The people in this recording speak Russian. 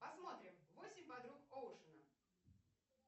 посмотрим восемь подруг оушена